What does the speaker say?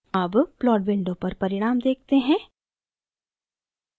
अब plot window पर परिणाम देखते हैं